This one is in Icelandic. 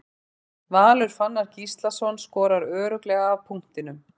Valur Fannar Gíslason skorar örugglega af punktinum.